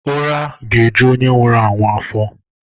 uraga-eju onye nwuru anwu afo.